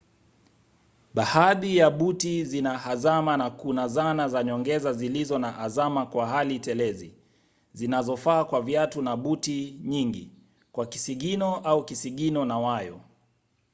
baadhi ya buti zina hazama na kuna zana za nyongeza zilizo na hazama kwa hali telezi zinazofaa kwa viatu na buti nyingi kwa kisigino au kisigino na wayo